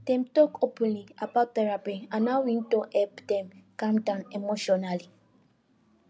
dem talk openly about therapy and how e don help dem calm down emotionally